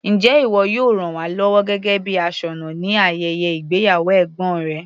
Njẹ́ ìwọ yóò ràn wá lọ́wọ́ gẹ́gẹ́ bíi aṣọ́nà ní ayẹyẹ ìgbéyàwó ẹ̀gbọ́n rẹ.